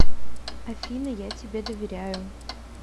афина я тебе доверяю